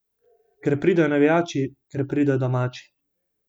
Ker pridejo navijači, ker pridejo domači.